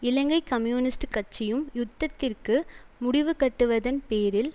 இலங்கை communist கட்சியும் யுத்தத்திற்கு முடிவு கட்டுவதன் பேரில்